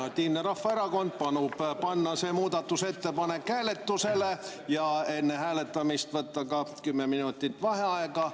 Konservatiivne Rahvaerakond palub panna see muudatusettepanek hääletusele ja enne hääletamist võtta ka kümme minutit vaheaega.